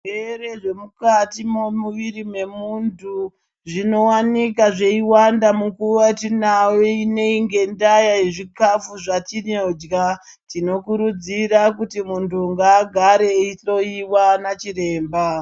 Zvirwere zvemukati memuviri memuntu zvinowanikwa zveiwanda munguva yatinayo ineyi ngendaya yezvikafu zvatinorya tinokurudzira kuti muntu ngaagare eihloyiwa ndiana chiremba.